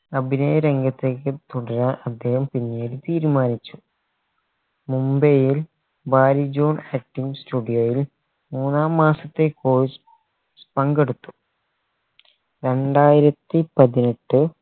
അഭിനയ രംഗത്തേക്ക് പുതിയ അദ്ദേഹം പിന്നീട് തീരുമാനിച്ചു മുംബൈയിൽ ബാരിജോൺ acting studio യിൽ മൂന്നാം മാസത്തെ course പങ്കെടുത്തു രണ്ടായിരത്തി പതിനെട്ട്